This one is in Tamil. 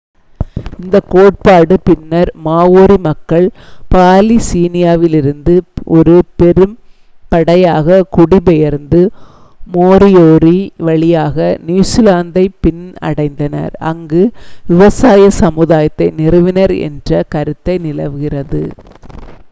இந்த கோட்பாடு பின்னர் மாவோரி மக்கள் பாலினீசியாவிலிருந்து ஒரு பெரும்படையாக குடிபெயர்ந்து மோரியோரி வழியாக நியூசிலாந்தை பின் அடைந்தனர் அங்கு விவசாய சமுதாயத்தை நிறுவினர் என்ற கருத்தை நிலவுகிறது